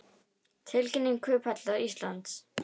Tilkynning Kauphallar Íslands